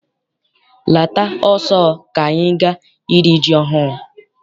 Lata ọsọ ka anyị gaa iri ji ọhụụ!